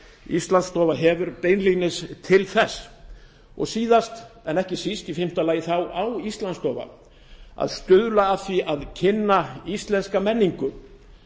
íslandsstofa hefur og síðast en ekki síst í fimmta lagi á íslandsstofa að stuðla að því að kynna íslenska menningu